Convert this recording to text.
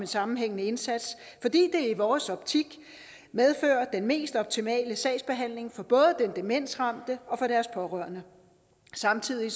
sammenhængende indsats fordi det i vores optik medfører den mest optimale sagsbehandling for både de demensramte og deres pårørende samtidig